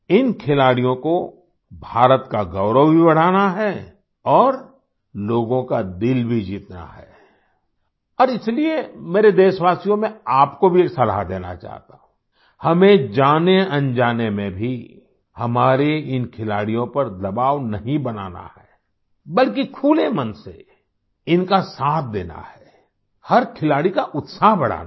इन खिलाड़ियों को भारत का गौरव भी बढ़ाना है और लोगों का दिल भी जीतना है और इसलिए मेरे देशवासियों मैं आपको भी सलाह देना चाहता हूँ हमें जानेअनजाने में भी हमारे इन खिलाड़ियों पर दबाव नहीं बनाना है बल्कि खुले मन से इनका साथ देना है हर खिलाड़ी का उत्साह बढ़ाना है